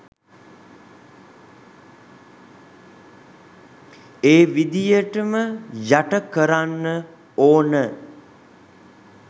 ඒ විදියටම යට කරන්න ඕන